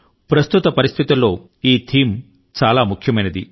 ప్రస్తుత పరిస్థితులలో ఈ థీమ్ చాలా ముఖ్యమైనది